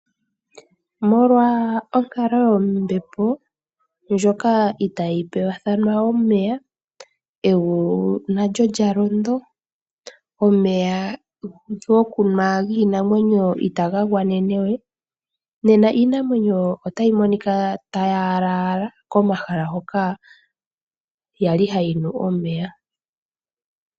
Molwa onkalo yombepo ndjoka itayi pewathana omeya, egulu nalyo lyalondo, omeya giinamwenyo itaga gwanene we. iinamwenyo ohayi monika tayi napa komahala ngoka yakala ha yi mono omeya